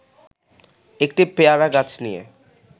একটি পেয়ারা গাছ নিয়ে